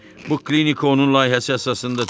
Bu klinika onun layihəsi əsasında tikilib.